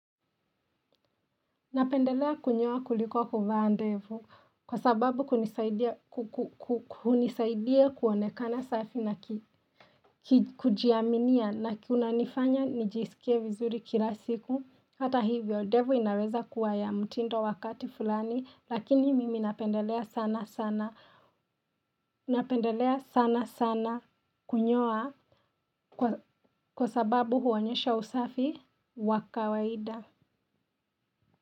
Napendelea kunyoa kuliko kuvaa ndevu kwa sababu kunisaidie kuonekana safi na kujiaminia na kunanifanya nijisikie vizuri kila siku, hata hivyo ndevu inaweza kuwa ya mtindo wakati fulani lakini mimi napendelea sana sana. Napendelea sana sana kunyoa kwa kwa sababu huonyesha usafi wa kawaida.